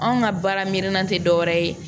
Anw ka baaraminɛn tɛ dɔwɛrɛ ye